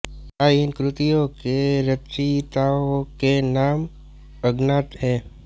प्राय इन कृतियों के रचयिताओं के नाम अज्ञात हैं